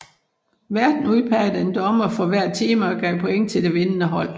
Værten udpegede en dommer for hvert tema og gav point til det vindende hold